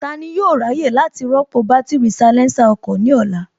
Tani yóò ráyè láti rọ́pò bátìrì salésà ọkọ̀ ní ọ̀la?